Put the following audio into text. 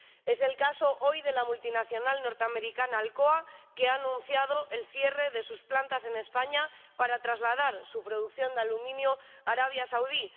Es el caso hoy de la multinacional norteamericana Alcoa, que ha anunciado el cierre de sus plantas en España para trasladar su producción de aluminio a Arabia Saudí.